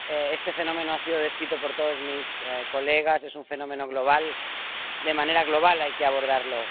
este fenómeno ha sido descrito por todos mis colegas, es un fenómeno global, y de manera global hay que abordarlo.